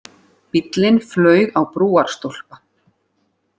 Bíllinn flaug á brúarstólpa